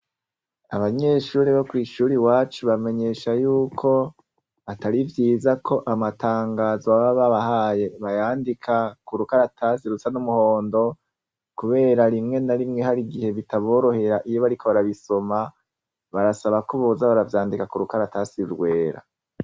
Abanyeshure bokwishure iwacu bamenyesha yuko atari vyiza ko amatangazo baba babahaye bayandika kurukaratasi rusa numuhondo kubera rimwe na rimwe harigihe bitaborohera iyobariko barabisoma barasaba ko boza baravyandika kurukaratasi rwera